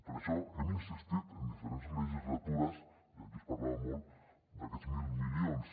per això hem insistit en diferents legislatures i aquí es parlava molt d’aquests mil milions